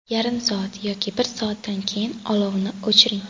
Yarim soat yoki bir soatdan keyin olovni o‘chiring.